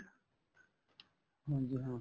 ਹਾਂਜੀ ਹਾਂ